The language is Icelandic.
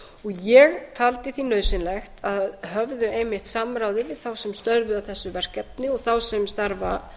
ég taldi því nauðsynlegt að höfðu einmitt samráði við þá sem störfuðu að þessu verkefni og þá sem starfa